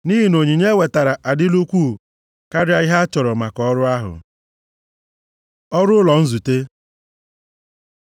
Nʼihi na onyinye e wetara adịla ukwuu karịa ihe a chọrọ maka ọrụ ahụ. Ọrụ ụlọ nzute